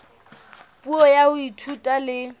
puo ya ho ithuta le